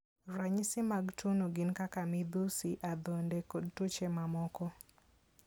Ranyisi mag tuwono gin kaka midhusi, adhonde, kod tuoche mamoko.